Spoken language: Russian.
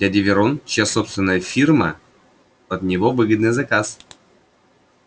дядя верон чья собственная фирма под него выгодный заказ